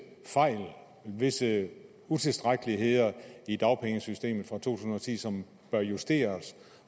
fejl visse utilstrækkeligheder i dagpengesystemet fra to tusind og ti som bør justeres